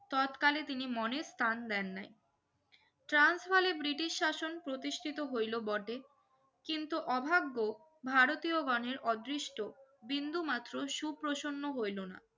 ততকালে তিনি মনের তান দেন নাই ট্রান্স হলে ব্রিটিস শাসন প্রতিষ্ঠিত হইলো বটে কিন্তু অভাগ্য ভারতীও গনের অদিসষ্ঠ বিন্দু মাত্র শুপ্রসন্য হইলো না